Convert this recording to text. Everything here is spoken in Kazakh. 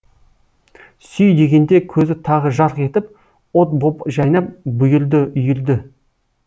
сүй дегенде көзі тағы жарқ етіп от боп жайнап бұйырды үйірді